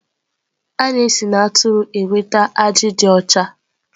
A na-esi na atụrụ enweta ajị dị ọcha.